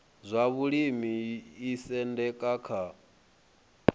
zwa vhulimi yo isendeka kha